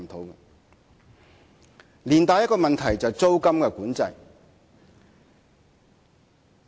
以上帶出另一個問題，就是租務管制。